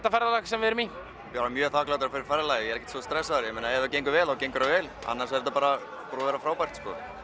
ferðalag sem við erum í bara mjög þakklátir ég er ekkert svo stressaður ef það gengur vel þá gengur vel annars er þetta bara búið að vera frábært